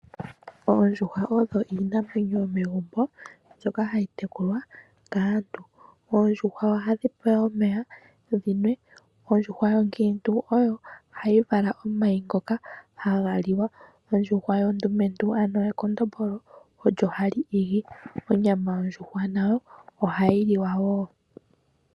Oondjuhwa odho iinamwenyo yomegumbo mbyono hayi tekulwa kaantu. Oondjuhwa ohadhi pewa omeya dhi nwe. Ondjuhwa onkiintu oyo hayi vala omayi ngoka haga liwa. Ondjuhwa ondumentu ano ekondombolo olyo hali igi. Onyama yondjuhwa nayo ohayi liwa woo.